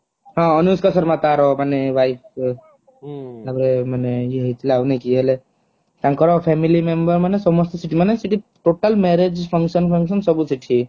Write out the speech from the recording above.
ହଁ ଅନୁଷ୍କା ଶମରା ତାର ମାନେ wife ମାନେ ୟେ ହେଇଥିଲା ଆଉ ନାଇକି ହେଲେ ତାଙ୍କର family member ମାନେ ସମସ୍ତେ ସେଠି ମାନେ ସେଠି total marriage function function ସବୁ ସେଠି